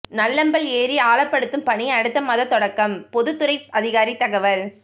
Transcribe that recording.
நல்லம்பல் ஏரி ஆழப்படுத்தும் பணி அடுத்த மாதம் தொடக்கம் பொதுப்பணித்துறை அதிகாரி தகவல்